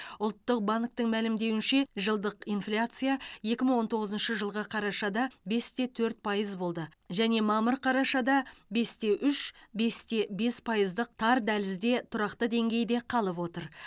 ұлттық банктің мәлімдеуінше жылдық инфляция екі мың он тоғызыншы жылғы қарашада бесте төрт пайыз болды және мамыр қарашада бесте үш бесте бес пайыздық тар дәлізде тұрақты деңгейде қалып отыр